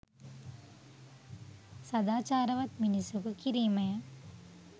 සදාචාරවත් මිනිසකු කිරීමය.